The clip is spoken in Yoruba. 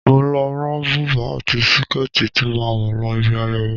Mo lọ rán bùbá àti síkẹ́ẹ̀tì tí màá wọ̀ lọ ibi ayẹyẹ.